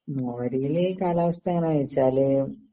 മോര്യേല് കാലാവസ്ഥ എങ്ങനാന്ന് വെച്ചാല്